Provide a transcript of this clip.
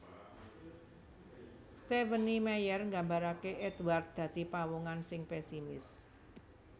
Stephenie Meyer nggambarké Édward dadi pawongan sing pesimis